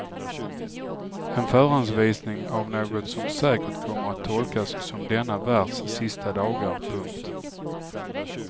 En förhandsvisning av något som säkert kommer att tolkas som denna världs sista dagar. punkt